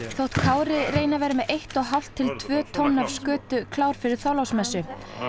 þótt Kári reyni að vera með eitt og hálft til tvö tonn af skötu klár fyrir Þorláksmessu